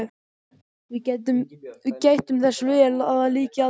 Við gættum þess vel að því lyki aldrei.